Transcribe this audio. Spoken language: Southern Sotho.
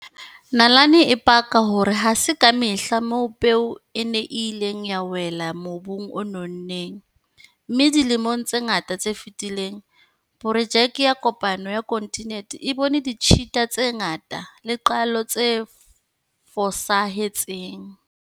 Nalane e paka hore ha se ka mehla moo peo ena e ileng ya wela mobung o nonneng, mme dilemong tse ngata tse fetileng, porojeke ya kopano ya kontinente e bone ditshita tse ngata le qalo tse fosahe tseng.